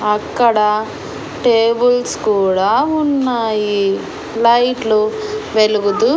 అక్కడ టేబుల్స్ కూడా ఉన్నాయి లైట్ లు వెలుగుతూ.